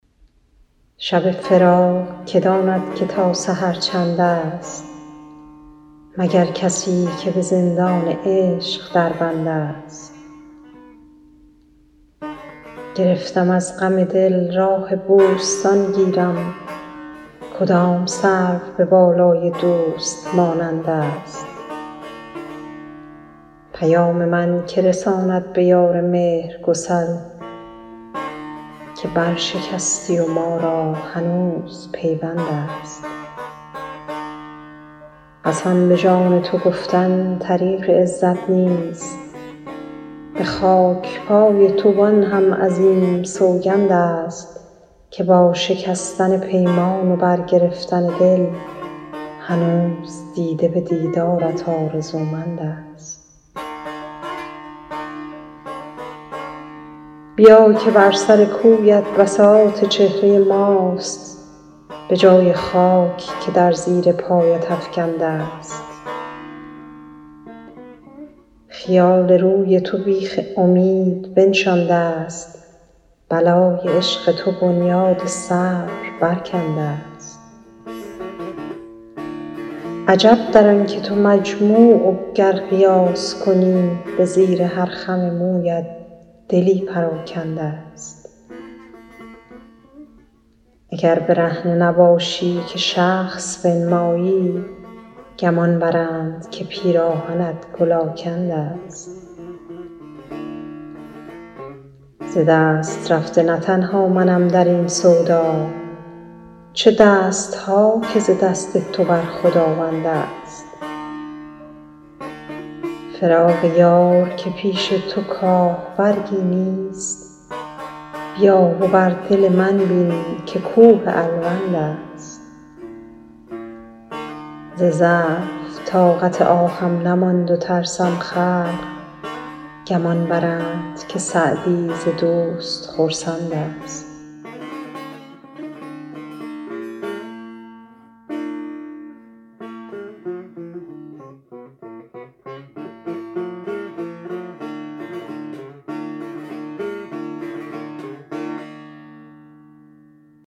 شب فراق که داند که تا سحر چندست مگر کسی که به زندان عشق در بندست گرفتم از غم دل راه بوستان گیرم کدام سرو به بالای دوست مانندست پیام من که رساند به یار مهرگسل که برشکستی و ما را هنوز پیوندست قسم به جان تو گفتن طریق عزت نیست به خاک پای تو وآن هم عظیم سوگندست که با شکستن پیمان و برگرفتن دل هنوز دیده به دیدارت آرزومندست بیا که بر سر کویت بساط چهره ماست به جای خاک که در زیر پایت افکندست خیال روی تو بیخ امید بنشاندست بلای عشق تو بنیاد صبر برکندست عجب در آن که تو مجموع و گر قیاس کنی به زیر هر خم مویت دلی پراکندست اگر برهنه نباشی که شخص بنمایی گمان برند که پیراهنت گل آکندست ز دست رفته نه تنها منم در این سودا چه دست ها که ز دست تو بر خداوندست فراق یار که پیش تو کاه برگی نیست بیا و بر دل من بین که کوه الوندست ز ضعف طاقت آهم نماند و ترسم خلق گمان برند که سعدی ز دوست خرسندست